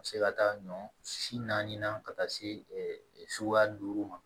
A bɛ se ka taa ɲɔ si na ka taa se suguya duuru ma